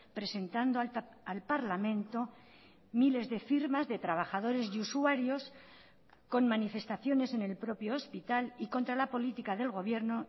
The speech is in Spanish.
presentando al parlamento miles de firmas de trabajadores y usuarios con manifestaciones en el propio hospital y contra la política del gobierno